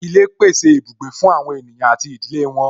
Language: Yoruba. Ilé pèsè ibùgbé fún àwọn ènìyàn àti ìdílé wọn